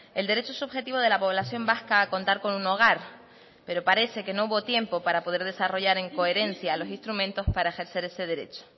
el derecho subjetivo de la población vasca a contar con un hogar pero parece que no hubo tiempo para poder desarrollar en coherencia los instrumentos para ejercer ese derecho